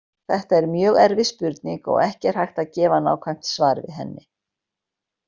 Þetta er mjög erfið spurning og ekki er hægt að gefa nákvæmt svar við henni.